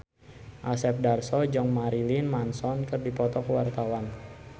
Asep Darso jeung Marilyn Manson keur dipoto ku wartawan